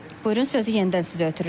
Buyurun, sözü yenidən sizə ötürürəm.